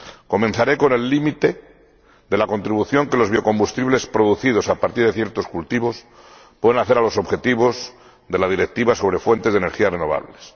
Comenzaré con el límite de la contribución que los biocombustibles producidos a partir de ciertos cultivos pueden hacer a los objetivos de la Directiva relativa a las fuentes de energía renovables.